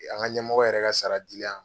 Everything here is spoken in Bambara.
An ka ɲɛmɔgɔ yɛrɛ ka sara dilen an